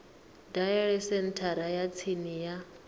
dalele senthara ya tsini ya